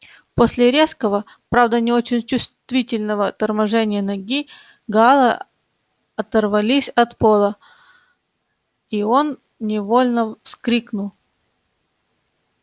после резкого правда не очень чувствительного торможения ноги гаала оторвались от пола и он невольно вскрикнул